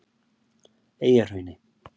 Eyjahrauni